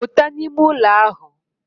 Puta n'ime ulo ahu.